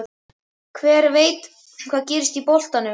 Hver veit hvað gerist í boltanum?